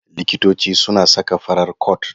Likitoci suna saka farar cot.